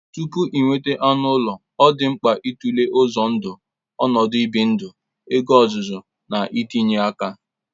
Tupu inweta anụ ụlọ, ọ dị mkpa ịtụle uzọ ndụ, ọnọdụ ibi ndụ, ego, ọzụzụ, na ntinye aka.